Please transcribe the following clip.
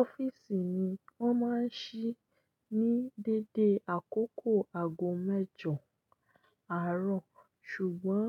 Ọ́fíìsì mi wọ́n máa ń ṣí ní dédé àkókò aago mẹ́jọ àárọ̀, ṣùgbọ́n